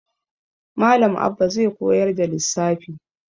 Malam Abba zai koyar da lissafi.